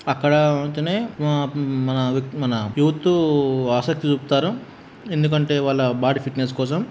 అక్కడా పోతేనే ఆ మన మన యూత్ ఆసక్తి చూపుతారు. ఎందుకంటే వాళ్ళ బాడీ ఫిట్ నెస్ కోసం.